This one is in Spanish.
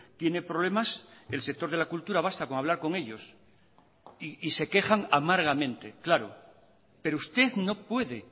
tiene problemas el sector de la cultura basta con hablar con ellos y se quejan amargamente claro pero usted no puede